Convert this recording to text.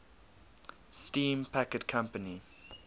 steam packet company